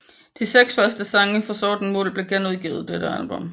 De seks første sange fra Sorten Muld blev genudgivet dette album